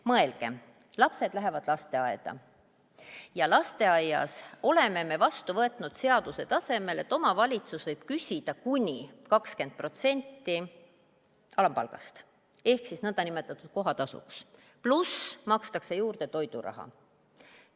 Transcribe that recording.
Mõelgem – lapsed lähevad lasteaeda ja lasteaias oleme me otsustanud seaduse tasemel, et omavalitsus võib küsida kuni 20% alampalgast nn kohatasuks, pluss makstakse juurde toiduraha.